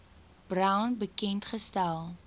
brown bekend gestel